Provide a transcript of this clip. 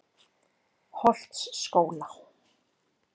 Holtsskóla